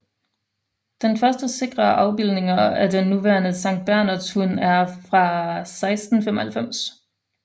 Den første sikre afbildninger af den nuværende sanktbernhardshund er fra 1695